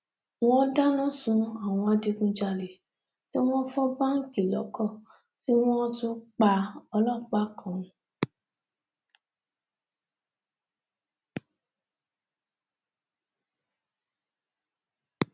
wọn dáná sun àwọn adigunjalè tí wọn fọ báǹkì lọkọọ tí wọn tún pa ọlọpàá kan